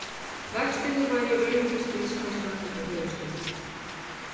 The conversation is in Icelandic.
Vextirnir væru í raun ekki stríðskostnaður, heldur höfuðstóllinn.